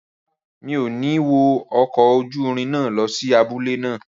Rárá, mi ò ní wọ ọkọ̀ ojúrin náà lọ sí abúlé náà